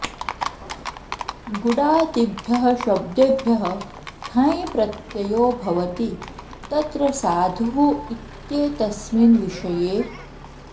गुडाऽदिभ्यः शब्देभ्यः ठञ् प्रत्ययो भवति तत्र साधुः इत्येतस्मिन् विषये